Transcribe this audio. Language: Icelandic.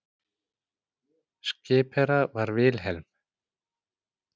Skipherra var Wilhelm